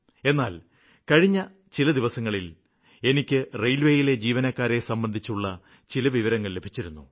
എന്നാല് കഴിഞ്ഞ ദിവസങ്ങളില് എനിക്ക് റെയില്വേയിലെ ജീവനക്കാരെ സംബന്ധിച്ചുള്ള ചില വിവരങ്ങള് ലഭിച്ചിരുന്നു